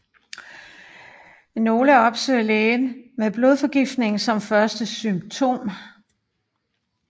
Nogle opsøger lægen med blodforgiftning som første symptom